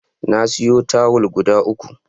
Na sayo tawul guda uku.